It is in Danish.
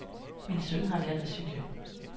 Min søn har lært at cykle.